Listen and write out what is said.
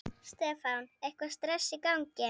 Stefán: Eitthvað stress í gangi?